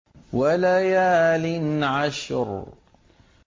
وَلَيَالٍ عَشْرٍ